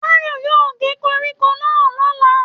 Táyọ̀ yóò ge koríko náà l'ọla.